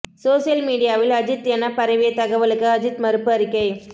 social மீடியாவில் அஜீத் என பரவிய தகவலுக்கு அஜீத் மறுப்பு அறிக்கை